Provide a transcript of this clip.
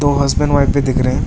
दो husband wife भी दिख रहे हैं।